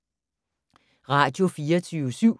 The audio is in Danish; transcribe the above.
Radio24syv